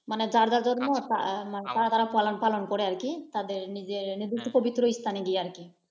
মানে যার যার ধর্ম তা মানে তারা তারা পালন করে আর কি, তাদের নিজের নির্দিষ্ট পবিত্র স্থানে গিয়ে আর কি।